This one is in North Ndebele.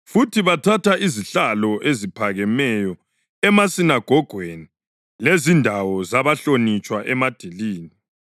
futhi bathatha izihlalo eziphakemeyo emasinagogweni lezindawo zabahlonitshwa emadilini.